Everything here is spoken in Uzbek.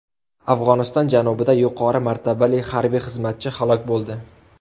Afg‘oniston janubida yuqori martabali harbiy xizmatchi halok bo‘ldi.